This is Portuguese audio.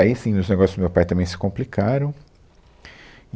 Aí, sim, os negócios do meu pai também se complicaram.